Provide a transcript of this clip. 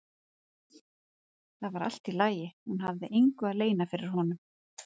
Það var allt í lagi, hún hafði engu að leyna fyrir honum.